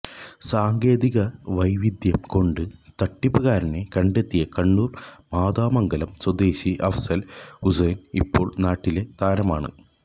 സാങ്കേതിക വൈദഗ്ധ്യം കൊണ്ട് തട്ടിപ്പുകാരനെ കണ്ടെത്തിയ കണ്ണൂർ മാതമംഗലം സ്വദേശി അഫ്സൽ ഹുസൈൻ ഇപ്പോൾ നാട്ടിലെ താരമാണ്